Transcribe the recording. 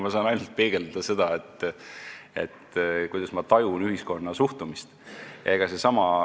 Ma saan ainult peegeldada seda, kuidas ma tajun ühiskonna suhtumist.